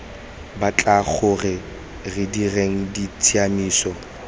batla gore re dire ditshiamiso